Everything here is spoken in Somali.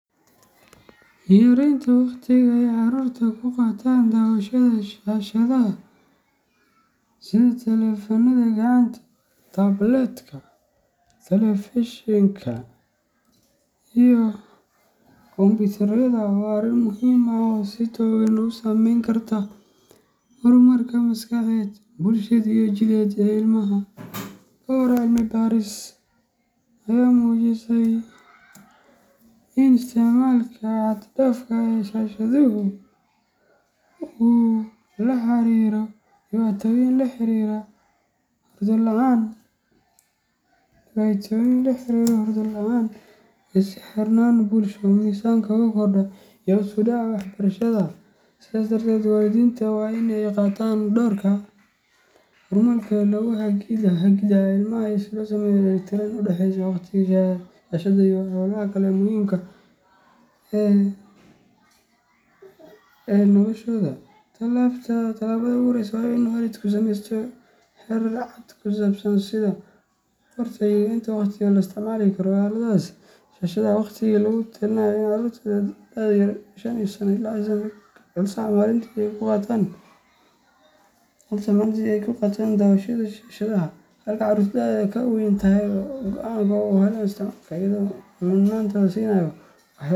Yaraynta waqtiga ay carruurtu ku qaataan daawashada shaashadaha sida taleefannada gacanta, tabletka, telefishinka iyo kombiyuutarrada waa arrin muhiim ah oo si togan u saameyn karta horumarka maskaxeed, bulsheed, iyo jidheed ee ilmaha. Dhowr cilmi baaris ayaa muujisay in isticmaalka xad dhaafka ah ee shaashaduhu uu la xiriiro dhibaatooyin la xiriira hurdo la’aan, is xirnaan bulsho, miisaanka oo kordha, iyo hoos u dhaca waxbarashada. Sidaa darteed, waalidiintu waa in ay qaataan doorka hormuudka ah ee hagida ilmaha si loo sameeyo dheelitirnaan u dhaxaysa waqtiga shaashadda iyo hawlaha kale ee muhiimka u ah noloshooda. Talaabada ugu horreysa waa in waalidku samaysto xeerar cad oo ku saabsan sida, goorta, iyo inta waqti ee la isticmaali karo aaladaha shaashadda leh. Waxaa lagu talinayaa in carruurta da’doodu ka yar tahay shan sano aysan ka badan hal saac maalintii ay ku qaataan daawashada shaashadaha, halka carruurta da’doodu ka weyn tahay ay waqti go’an oo kooban u helaan isticmaalka, iyadoo mudnaanta la siinayo waxyaabaha.